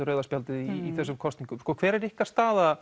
rauða spjaldið í þessum kosningum hver er ykkar staða